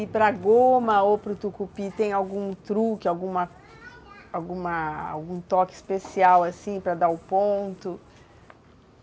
E para goma ou para o tucupi, tem algum truque, alguma alguma algum toque especial, assim, para dar o ponto?